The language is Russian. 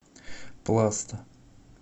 пласта